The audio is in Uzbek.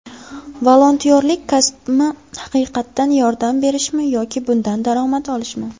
Volontyorlik kasbmi, haqiqatan yordam berishmi yoki bundan daromad olishmi?